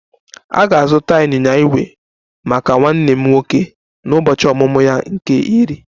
M ga-azụta ịnyịnya ígwè maka nwa m nwoke n'ụbọchị ọmụmụ ya nke iri